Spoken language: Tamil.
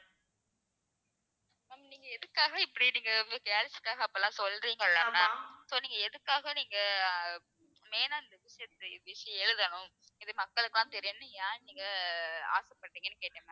நீங்க எதுக்காக இப்படி நீங்க வந்து girls க்காக அப்படிலாம் சொல்றிங்கல்ல ma'am so நீங்க எதுக்காக நீங்க main ஆ இந்த விஷயத்த விஷ~ எழுதணும் இது மக்களுக்கு எல்லாம் தெரியும்ன்னு ஏன் நீங்க ஆசைப்பட்டீங்கன்னு கேட்டேன் ma'am